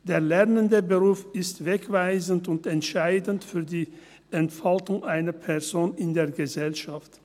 Der Lernendenberuf ist wegweisend und entscheidend für die Entfaltung einer Person in der Gesellschaft.